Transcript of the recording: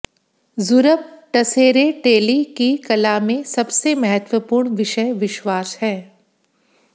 Zurab Tsereteli की कला में सबसे महत्वपूर्ण विषय विश्वास है